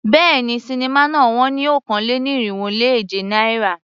Béèni, sinimá náà wón ní okòó-lé-ní-irínwó-lé-èje náírà.